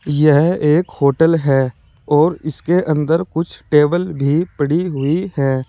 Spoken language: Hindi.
यह एक होटल है और इसके अंदर कुछ टेबल भी पड़ी हुई है।